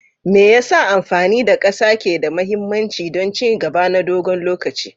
Me yasa amfani da ƙasa ke da mahimmanci don ci gaba na dogon lokaci?